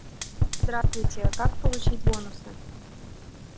здравствуйте как получить бонусы